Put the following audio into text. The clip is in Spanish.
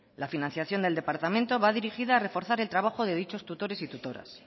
la financiación del departamento va dirigida a reforzar el trabajo de dichos tutores y tutoras